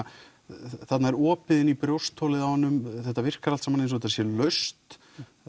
þarna er opið inn í brjóstholið á honum þetta virkar allt saman eins og þetta sé laust